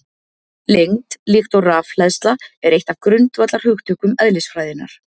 Lengd, líkt og rafhleðsla, er eitt af grundvallarhugtökum eðlisfræðinnar.